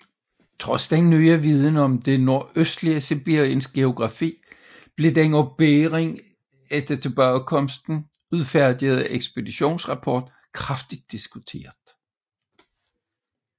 Trods den nye viden om det nordøstlige Sibiriens geografi blev den af Bering efter tilbagekomsten udfærdigede ekspeditionsrapport kraftigt diskuteret